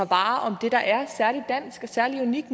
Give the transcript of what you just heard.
fra